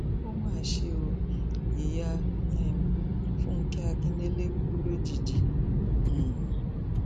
ó mà ṣe ó ìyá um fúnkẹ akíndélé kù lójijì um